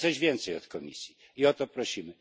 Chcemy czegoś więcej od Komisji i o to prosimy.